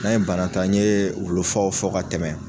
N'an ye bana ta, an ye wulu faw fɔ ka tɛmɛ.